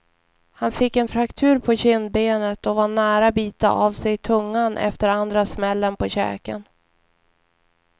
Han fick en fraktur på kindbenet och var nära bita av sig tungan efter andra smällen på käken.